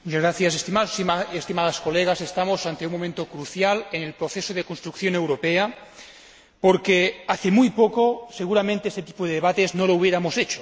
Estimados y estimadas colegas, estamos ante un momento crucial en el proceso de la construcción europea, porque, hace muy poco, seguramente este tipo de debate no lo habríamos tenido.